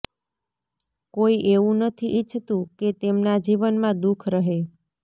કોઈ એવું નથી ઇચ્છતું કે તેમના જીવનમાં દુઃખ રહે